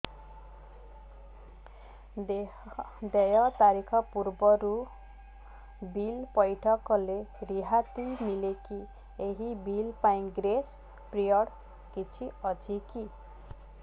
ଦେୟ ତାରିଖ ପୂର୍ବରୁ ବିଲ୍ ପୈଠ କଲେ ରିହାତି ମିଲେକି ଏହି ବିଲ୍ ପାଇଁ ଗ୍ରେସ୍ ପିରିୟଡ଼ କିଛି ଅଛିକି